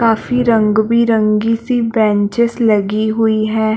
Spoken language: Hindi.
काफी रंग बिरगें सी बैचेंस लगी हुई है।